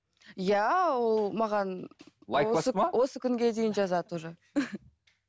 иә ол маған осы күнге дейін жазады уже